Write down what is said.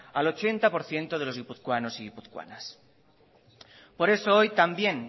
al ochenta por ciento de los guipuzcoanos y guipuzcoanas por eso hoy también